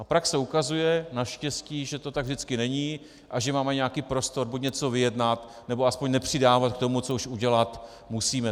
A praxe ukazuje, naštěstí, že to tak vždycky není a že máme nějaký prostor buď něco vyjednat, nebo aspoň nepřidávat k tomu, co už udělat musíme.